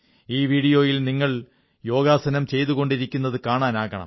ഈ വീഡിയോയിൽ നിങ്ങൾ യോഗാസനം ചെയ്തുകൊണ്ടിരിക്കുന്നതു കാണാനാകണം